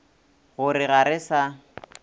go re ga re sa